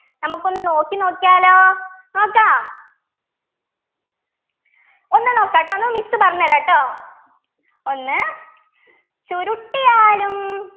നമുക്കൊന്ന് നോക്കി നോക്കിയാലോ നോക്കാം ഒന്ന് നോക്കാട്ടോ ഒന്ന് miss പറഞ്ഞുതരാ ട്ടോ ഒന്ന് ചുരുട്ടിയാലും